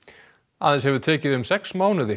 aðeins hefur tekið um sex mánuði